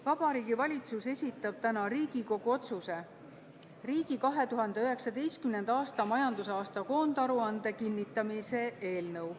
Vabariigi Valitsus esitab täna Riigikogu otsuse "Riigi 2019. aasta majandusaasta koondaruande kinnitamine" eelnõu.